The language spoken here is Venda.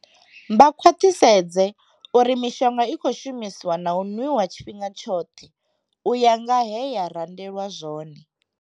Vha khwaṱhisedze uri mishonga i khou shumiswa na u nwiwa tshifhinga tshoṱhe u ya nga he ya randelwa zwone.